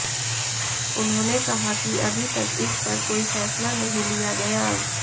उन्होंने कहा कि अभी तक इस पर कोई फैसला नहीं लिया गया